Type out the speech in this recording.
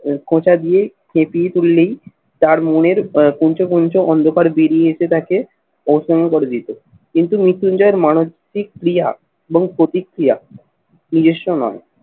খোঁচা দিয়ে খেকিয়ে তুললেই তার মনের আহ কুঞ্চ পঞ্চ অন্ধকার বেরিয়ে এসে তাকে অসম করে দিত কিন্তু মৃত্যুঞ্জয়ের মানসিক ক্রিয়া এবং প্রতিক্রিয়া নিজস্ব নয়।